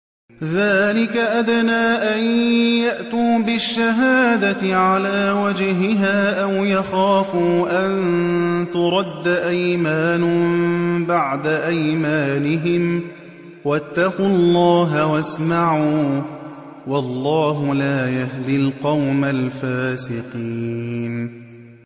ذَٰلِكَ أَدْنَىٰ أَن يَأْتُوا بِالشَّهَادَةِ عَلَىٰ وَجْهِهَا أَوْ يَخَافُوا أَن تُرَدَّ أَيْمَانٌ بَعْدَ أَيْمَانِهِمْ ۗ وَاتَّقُوا اللَّهَ وَاسْمَعُوا ۗ وَاللَّهُ لَا يَهْدِي الْقَوْمَ الْفَاسِقِينَ